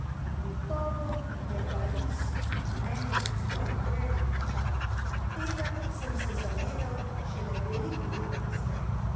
Gotovo je Pariz na meni pustil velik pečat, a tega sem se zavedal šele veliko let kasneje.